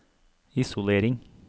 isolering